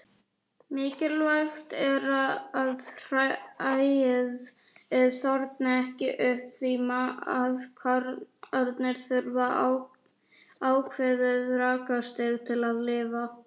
Mikilvægt er að hræið þorni ekki upp því maðkarnir þurfa ákveðið rakastig til að lifa.